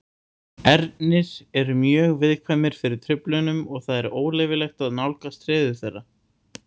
Ernir eru mjög viðkvæmir fyrir truflunum og það er óleyfilegt að nálgast hreiður þeirra.